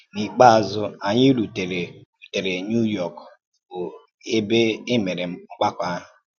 N’íkpéazụ̀, ànyì rùtèrè rùtèrè New York, bụ́ ẹ̀bè e mèrè mgbàkọ̀ ahụ̀.